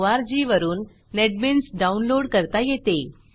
wwwnetbeansorg वरून NetBeans download करता येते